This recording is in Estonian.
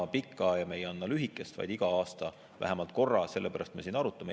Me ei anna pikka ja me ei anna lühikest, vaid iga aasta vähemalt korra, sellepärast me siin arutame.